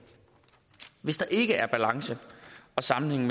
hvis der ikke er balance og sammenhæng